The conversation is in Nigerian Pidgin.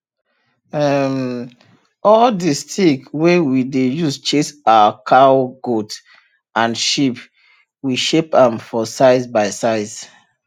um all the stick wey we dey use chase our cowgoat and sheep we shape am for size by size